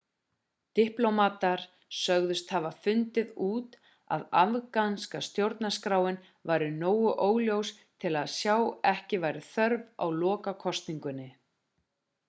diplómatar sögðust hafa fundið út að afganska stjórnarskráin væri nógu óljós til að sjá að ekki væri þörf á lokakosningunni